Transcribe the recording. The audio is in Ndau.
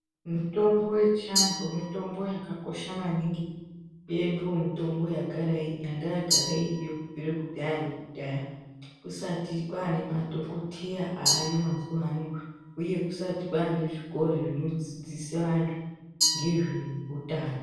Mitombo yechi antu mitombo yaka kosha maningi iyoyo ndiyo mitombo yanga yagara iriyo kubvire ku dhaya nekudhaya kusati kwane madhokoteya aayo mazuva ano uye kusati kwane zvikora zvino dzidzise antu ngezve utano.